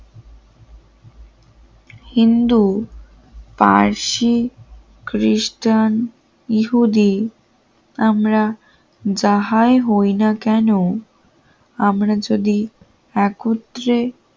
হিন্দু পার্সি খ্রিস্টান ইহুদি আমরা যাহাই হয় না কেন আমরা যদি একত্রে